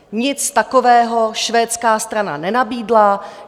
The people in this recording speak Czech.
Nic takového švédská strana nenabídla.